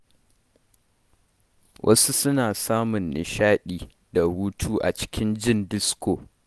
Wasu suna samun nishaɗi da hutu a cikin jin disko.